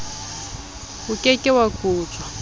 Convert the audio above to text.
o ke ke wa kotjwa